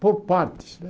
Por partes, né?